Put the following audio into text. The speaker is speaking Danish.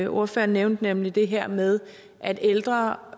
ordføreren nævnte nemlig det her med at ældre